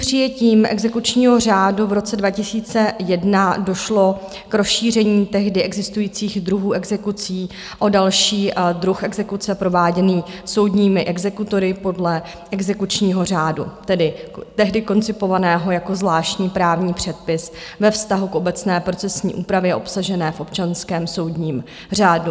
Přijetím exekučního řádu v roce 2001 došlo k rozšíření tehdy existujících druhů exekucí o další druh exekuce prováděný soudními exekutory podle exekučního řádu, tehdy koncipovaného jako zvláštní právní předpis ve vztahu k obecné procesní úpravě obsažené v občanském soudním řádu.